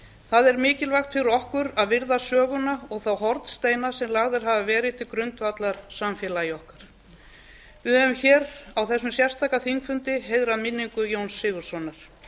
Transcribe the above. það er mikilvægt fyrir okkur að virða söguna og þá hornsteina sem lagðir hafa verið til grundvallar samfélagi okkar við höfum á þessum sérstaka þingfundi heiðrað minningu jóns sigurðssonar